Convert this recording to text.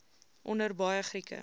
onder baie grieke